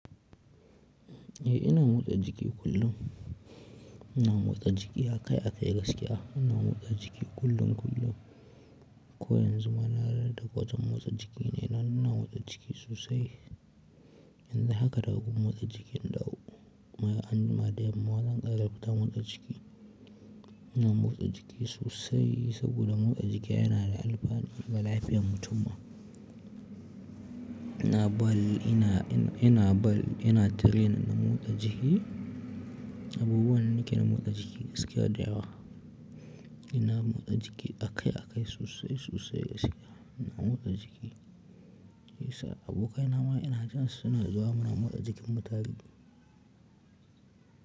Eh ina motsa jiki kullum ina motsa jiki akai-akai gaskiya. Ina motsa jiki kullum kullum. Ko yanzu ma na rage gwajin motsa jiki ne. Ina nan ina motsa jiki sosai. Yanzu haka daga gurin motsa jiki na dawo, kuma anjima da yamma zan ƙara fita motsa jiki. Ina motsa jiki sosai saboda motsa jiki yana da alfanu ga lafiyar mutum ma. Ina ball, ina, ina, ina ball, ina training ɗin motsa jiki. Abubuwan nake na motsa jiki gaskiya da yawa. Ina motsa jiki akai-akai sosai-sosai gaskiya. Ina motsa jiki. Yes sir, abokaina ma ina jansu suna zuwa muna motsa jikin mu tare.